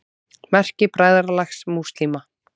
Merki Bræðralags múslíma.